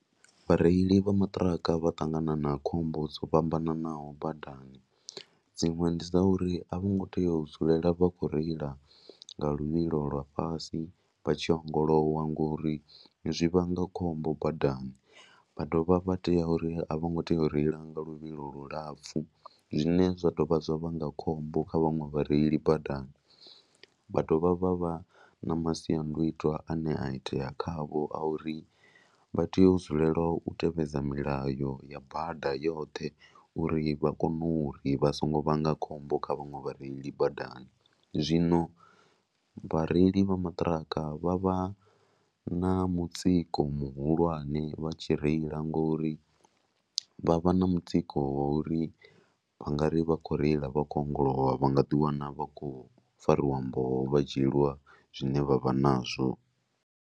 Vhareili vha maṱiraka vha ṱangana na khombo dzo fhambananaho badani dziṅwe ndi dza uri a vhongo tea u dzulela vha khou reila nga luvhilo lwa fhasi vha tshi ogolowa ngori zwi vhanga khombo badani. Vha dovha vha tea uri a vho ngo tea u reila nga luvhilo lu lapfhu zwine zwa dovha zwa vhanga khombo kha vhaṅwe vhareili badani. Vha dovha vha vha na masiandaitwa ane a itea khavho a uri vha tea u dzulela u tevhedza milayo ya bada yoṱhe uri vha kone uri vha songo vhanga khombo kha vhaṅwe vhareili badani. Zwino vhareili vha maṱiraka vha vha na mutsiko muhulwane vha tshi reila ngori vha vha na mutsiko wa uri u nga ri vha khou reila vha khou ongolowa vha nga ḓiwana vha khou fariwa mboho vha dzhieliwa zwine vha vha nazwo.